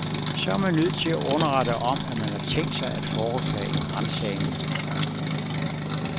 Så er man nødt til at underrette om, at man har tænkt sig at foretage en ransagning.